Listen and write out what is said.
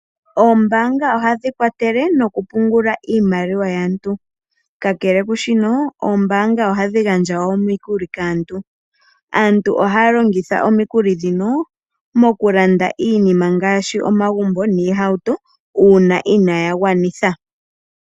Oombaanga oha dhi kwathele noku pungula iimaliwa yaantu, kakele kushino oombaanga oha dhi gandja wo omikuli kaantu. Aantu ohaa longitha omikuli ndhino moku landa iinima, ngaashi omagumbo niihauto, uuna inaa ya gwanitha.